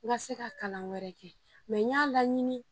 N ka se ka kalan wɛrɛ kɛ n y'a laɲini